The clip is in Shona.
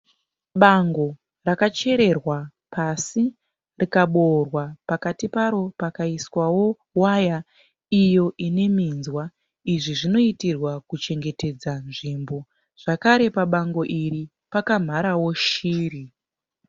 Bango rakachekererwa pasi rikaboora pakati paro pakaiswawo waya ineminzwa. Izvo zvinoitirwa kuchengetedza nzvimbo. Zvakare pabango iri pakamharawo shiri.